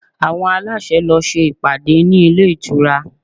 Àwọn aláṣẹ lọ ṣe ìpàdé ní ilé ìtura